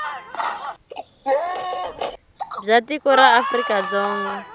bya tiko ra afrika dzonga